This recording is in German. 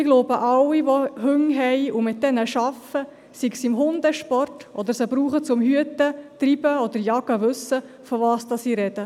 Ich glaube, alle, die Hunde haben und mit ihnen arbeiten, beispielsweise im Hundesport oder sie zum Hüten, Treiben oder Jagen brauchen, wissen, wovon ich spreche.